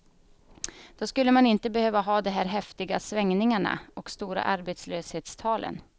Då skulle man inte behöva ha de här häftiga svängningarna och stora arbetslöshetstalen.